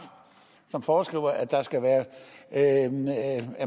som foreskriver at